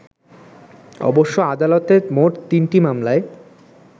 অবশ্য আদালতে মোট তিনটি মামলায়